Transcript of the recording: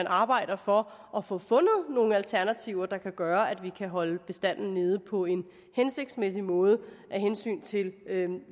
arbejde for at få fundet nogle alternativer der kan gøre at vi kan holde bestanden nede på en hensigtsmæssig måde af hensyn til